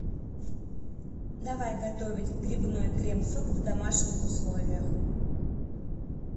давай готовить грибной крем суп в домашних условиях